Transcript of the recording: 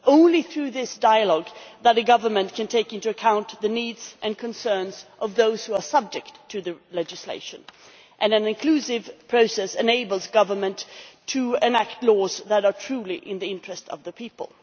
It is only through this dialogue that the government can take into account the needs and concerns of those who are subject to the legislation, and an inclusive process enables government to enact laws that are truly in the interest of the people.